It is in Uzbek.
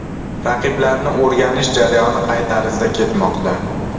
Raqiblarni o‘rganish jarayoni qay tarzda ketmoqda?